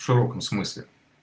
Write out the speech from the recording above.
широком смысле